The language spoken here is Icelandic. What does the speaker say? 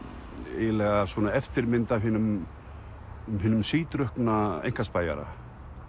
eiginlega svona eftirmynd af hinum hinum sídrukkna einkaspæjara